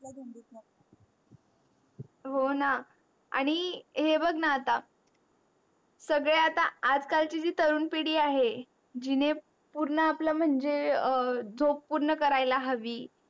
हो णा आणि हे बग णा आता सगळे आता आज काल ची तरुण पिडी आहे. जीने पूर्ण आपल्या म्हणजे झोप पूर्ण कऱ्याला हवी